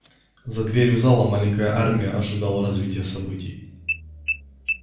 за дверью зала маленькая армия ожидала развития событий